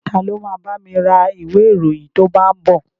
Ta ló ma bámi ra ìwé ìròyìn tó bá ń bọ̀?